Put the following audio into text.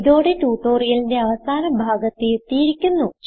ഇതോടെ ട്യൂട്ടോറിയലിന്റെ അവസാന ഭാഗത്ത് എത്തിയിരിക്കുന്നു